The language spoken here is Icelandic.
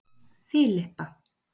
Filippa